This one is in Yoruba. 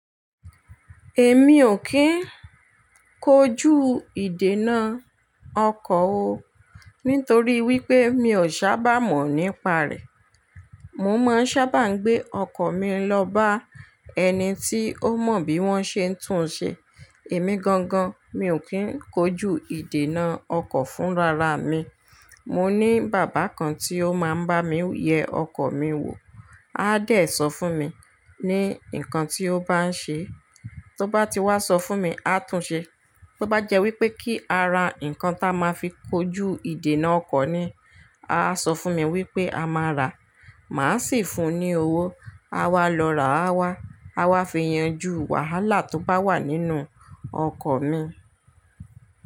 Èmi ò kí ń kojú ìdènà ọkọ̀ o, nítorí wípé mi ò sábà mọ̀ nípa rẹ̀. Mo máa ń sábà gbé ọkọ̀ mi lọ bá ẹni tí ó mọ bí wón ṣe ń tún un ṣe. Èmi gangan, mi ò kí ń kojú ìdènà ọkọ̀ fún rara mi. Mo ní bàbá kan tí ó máa ń bá mi yẹ ọkọ̀ mi wò. A dẹ̀ sọ fún mi ní nǹkan tí ó bá ń ṣe e. Tó bá ti wá sọ fún mi, a tún un ṣe. Tó bá jẹ́ wípé kí a ra ǹkan táa máa fi kojú ìdènà ọkọ̀ ni, a á sọ fún mi wípé a máa ràá, màá sì fun ní owó. A wa lọ rà á wá, a wá fi yanjú wàhálà tó bá wà nínú ọkọ̀ mi.